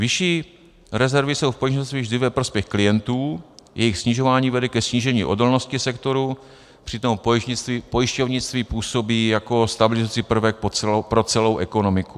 Vyšší rezervy jsou v pojišťovnictví vždy ve prospěch klientů, jejich snižování vede ke snížení odolnosti sektoru, přitom pojišťovnictví působí jako stabilizující prvek pro celou ekonomiku.